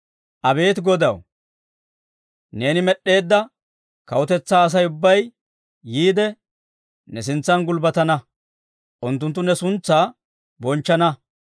Abeet Godaw, neeni med'd'eedda kawutetsaa Asay ubbay yiide, ne sintsan gulbbatana; unttunttu ne suntsaa bonchchana.